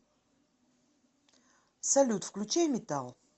салют включай метал